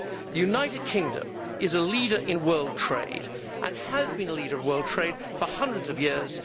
The United Kingdom is a leader in world trade and has been a leader of world trade for hundreds of years.